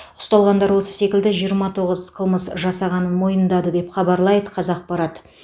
ұсталғандар осы секілді жиырма тоғыз қылмыс жасағанын мойындады деп хабарлайды қазақпарат